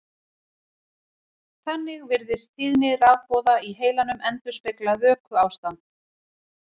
Þannig virðist tíðni rafboða í heilanum endurspegla vökuástand.